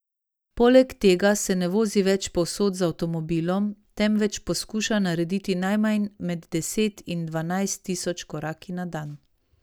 Poleg tega se ne vozi več povsod z avtomobilom, temveč poskuša narediti najmanj med deset in dvanajst tisoč koraki na dan.